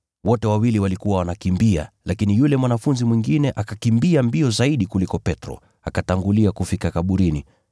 Wote wawili walikuwa wanakimbia, lakini yule mwanafunzi mwingine akakimbia mbio zaidi kuliko Petro, akatangulia kufika kaburini.